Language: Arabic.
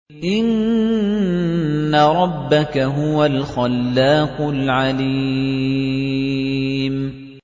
إِنَّ رَبَّكَ هُوَ الْخَلَّاقُ الْعَلِيمُ